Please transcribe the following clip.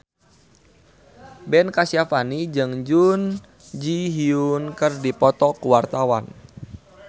Ben Kasyafani jeung Jun Ji Hyun keur dipoto ku wartawan